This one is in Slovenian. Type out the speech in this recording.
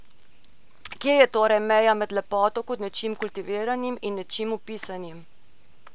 Kje je torej meja med lepoto kot nečim kultiviranim in nečim vpisanim?